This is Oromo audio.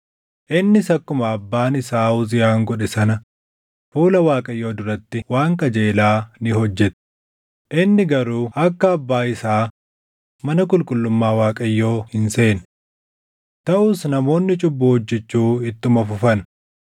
Innis akkuma abbaan isaa Uziyaan godhe sana fuula Waaqayyoo duratti waan qajeelaa ni hojjete; inni garuu akka abbaa isaa mana qulqullummaa Waaqayyoo hin seenne. Taʼus namoonni cubbuu hojjechuu ittuma fufan.